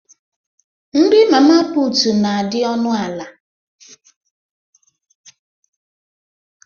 Nri Mama putu n' adị ọnụ ala